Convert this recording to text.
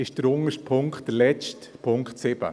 Es ist der letzte Punkt, Punkt 7.